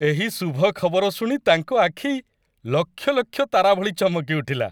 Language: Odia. ଏହି ଶୁଭ ଖବର ଶୁଣି ତାଙ୍କ ଆଖି ଲକ୍ଷ ଲକ୍ଷ ତାରା ଭଳି ଚମକି ଉଠିଲା।